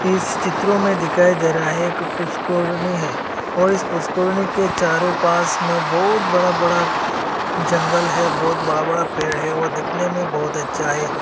इस चित्रों में दिखाई दे रहा है एक पुष्कोरनी है और इस पुष्कोरनी के चारों पास में बहुत बड़ा बड़ा जंगल है बहुत बड़ा बड़ा पेड़ है और दिखने में बहुत अच्छा है।